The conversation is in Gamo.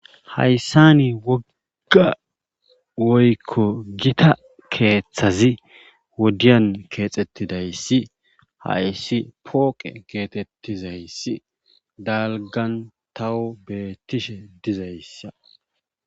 Haysan wogga woykko gita keeththazi wodiyan keexetizayssi hayssi ppoqe geetetizayssi dalggan tawu beetishe dizayssa.